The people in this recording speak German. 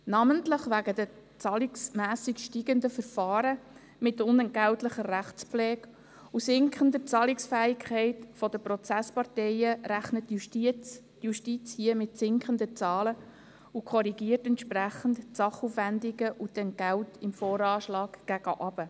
Namentlich wegen den zahlenmässig steigenden Verfahren mit unentgeltlicher Rechtspflege und der sinkenden Zahlungsfähigkeit der Prozessparteien rechnet die Justiz hier mit sinkenden Zahlen und korrigiert die Sachaufwendungen und Entgelte im VA entsprechend gegen unten.